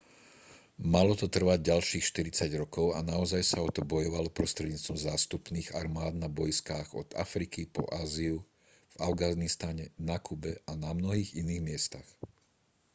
malo to trvať ďalších 40 rokov a naozaj sa o to bojovalo prostredníctvom zástupných armád na bojiskách od afriky po áziu v afganistane na kube a na mnohých iných miestach